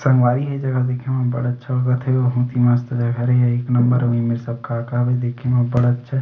संगवारी हो ये जगह ल देखें म बड़ा अच्छा लगत हे बहुत ही मस्त घर हे एक नंबर ओ मेर सब का-का हेदेखें म बड़ा अच्छा--